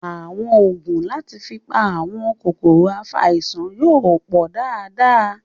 Àwọn ògùn láti fi pa àwọn kòkòrò afàìsàn yóò pọ dára dára